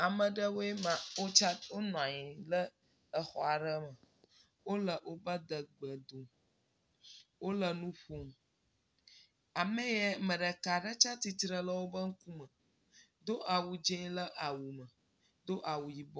Ame ɖe woe maa wo tsa, wo nɔa nyi ɖe exɔ aɖe me. Wole woƒe adegbe dum. Wole nu ƒom. Ame yae, me ɖeka ɖe tsɛ tsitre le wo ƒe ŋkume, do awu dzɛ ɖe awu me, do awu yibɔ.